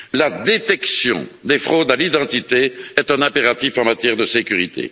La détection des fraudes à l'identité est un impératif en matière de sécurité.